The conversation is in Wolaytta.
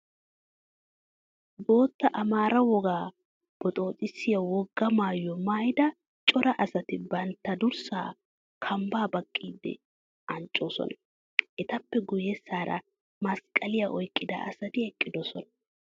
Bootta Amaaraa wogaa boxooxissiya wogaa maayuwa maayida cora asati bantta durssaa kambbaa baqqiiddi anccoosona. Etappe guyyessaara masanqquwa oyqqida asati eqqidosona.